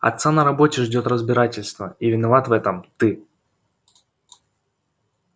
отца на работе ждёт разбирательство и виноват в этом ты